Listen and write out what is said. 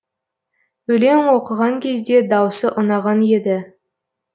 өлең оқыған кезде даусы ұнаған еді